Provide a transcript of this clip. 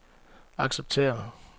acceptere